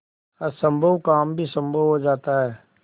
असम्भव काम भी संभव हो जाता है